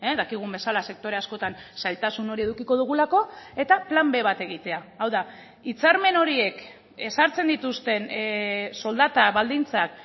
dakigun bezala sektore askotan zailtasun hori edukiko dugulako eta plan b bat egitea hau da hitzarmen horiek ezartzen dituzten soldata baldintzak